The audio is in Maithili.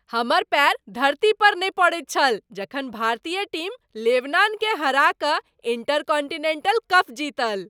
हमर पैर धरती पर नहि पड़ैत छल जखन भारतीय टीम लेबनानकेँ हरा कऽ इंटरकांटिनेंटल कप जीतल।